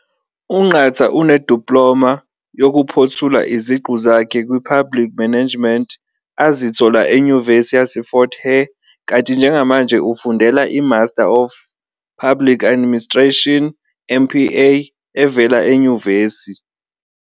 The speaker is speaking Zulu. UNqatha uneDiploma yokuphothula iziqu zakhe kwiPublic Management azithola eNyuvesi yaseFort Hare kanti njengamanje ufundela iMaster of Public Administration, MPA, evela enyuvesi.